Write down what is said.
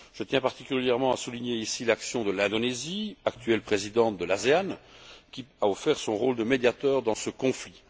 Je tiens particulièrement à souligner ici l'action de l'Indonésie, actuelle présidente de l'ANASE, qui a offert de jouer le rôle de médiateur dans ce conflit.